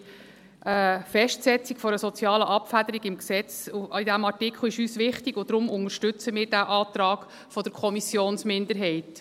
Die Festsetzung einer sozialen Abfederung im Gesetz ist uns bei diesem Artikel wichtig, und deshalb unterstützen wir diesen Antrag der Kommissionsminderheit.